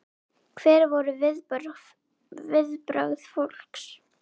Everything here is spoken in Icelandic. Hver voru viðbrögð fólks?